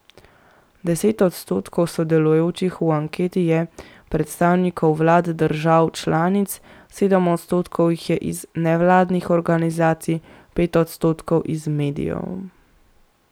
Deset odstotkov sodelujočih v anketi je predstavnikov vlad držav članic, sedem odstotkov jih je iz nevladnih organizacij, pet odstotkov iz medijev.